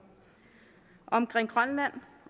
omkring grønland